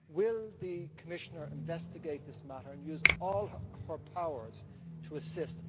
Will the Commissioner investigate this matter and use all her powers to assist?